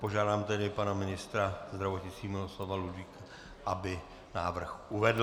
Požádám tedy pana ministra zdravotnictví Miloslava Ludvíka, aby návrh uvedl.